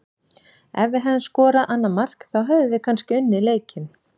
Ef við hefðum skorað annað mark þá hefðum við kannski unnið leikinn.